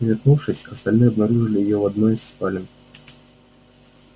вернувшись остальные обнаружили её в одной из спален